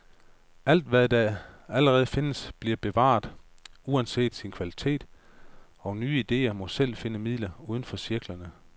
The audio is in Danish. Alt, hvad der allerede findes, bliver bevaret, uanset sin kvalitet, og nye idéer må selv finde midler, uden for cirklerne.